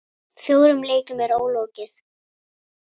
Fjórum leikjum er ólokið.